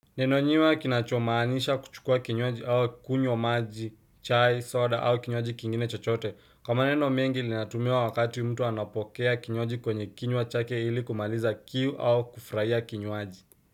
Nenonyiwa kinachomaanisha kuchukua kinywaji au kunywa maji, chai, soda au kinywaji kingine chochote. Ka maneno mengi linatumiwa wakati mtu anapokea kinywaji kwenye kinywa chake ili kumaliza kiu au kufraia kinywaji.